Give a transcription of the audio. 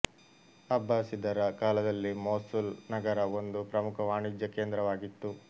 ಅಬ್ಬಾಸಿದರ ಕಾಲದಲ್ಲಿ ಮೋಸುಲ್ ನಗರ ಒಂದು ಪ್ರಮುಖ ವಾಣಿಜ್ಯ ಕೇಂದ್ರವಾಗಿತ್ತು